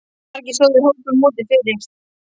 Margir stóðu í hópum úti fyrir.